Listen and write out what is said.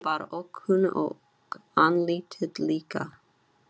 Röddin var ókunn og andlitið líka.